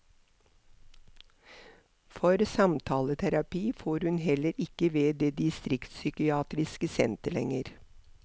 For samtaleterapi får hun heller ikke ved det distriktspsykiatriske senter lenger.